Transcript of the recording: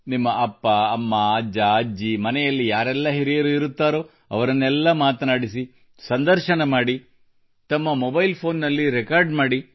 ತಮ್ಮ ಅಪ್ಪಅಮ್ಮ ಹಾಗೂ ಅಜ್ಜಅಜ್ಜಿ ಮತ್ತು ಮನೆಯಲ್ಲಿ ಯಾರೆಲ್ಲ ಹಿರಿಯರು ಇರುತ್ತಾರೋ ಅವರನ್ನೆಲ್ಲ ಮಾತನಾಡಿಸಿ ಸಂದರ್ಶನ ಮಾಡಿ ತಮ್ಮ ಮೊಬೈಲ್ ಫೆÇೀನ್ ನಲ್ಲಿ ರೆಕಾರ್ಡ್ ಮಾಡಿ